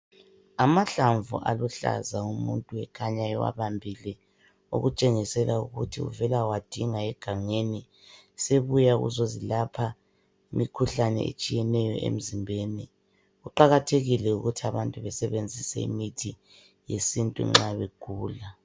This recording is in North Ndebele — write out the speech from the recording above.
Amahlamvu aluhlaza umuntu ekhanya ewabambile okutshengisela ukuthi uvela wadinga egangeni, sebuya ukuzozilapha imikhuhlane etshiyeneyo emzimbeni. Kuqakathekile ukuthi abantu besebenzise imithi yesintu nxa begula.